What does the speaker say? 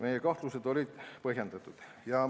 Meie kahtlused olid põhjendatud.